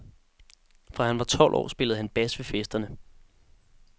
Fra han var tolv år, spillede han bas ved festerne.